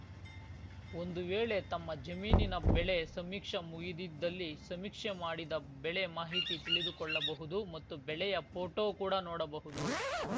ಒಂದು ವೇಳೆ ತಮ್ಮ ಜಮೀನಿನ ಬೆಳೆ ಸಮೀಕ್ಷೆ ಮುಗಿದಿದ್ದಲ್ಲಿ ಸಮೀಕ್ಷೆ ಮಾಡಿದ ಬೆಳೆ ಮಾಹಿತಿ ತಿಳಿದುಕೊಳ್ಳಬಹುದು ಮತ್ತು ಬೆಳೆಯ ಪೋಟೋ ಕೂಡಾ ನೋಡಬಹುದು